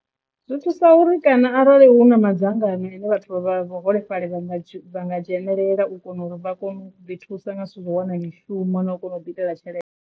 Zwi thusa uri kana arali hu na madzangano ine vhathu vha vhuholefhali vha nga vha nga dzhenelela u kona uri vha kone u ḓi thusa nga zwithu u ḓo wana mishumo na u kona u ḓi itela tshelede.